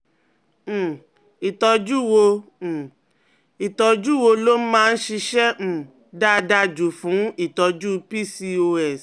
um Ìtọ́jú wo um Ìtọ́jú wo ló máa ń ṣiṣẹ́ um dáadáa jù fún ìtọ́jú PCOS?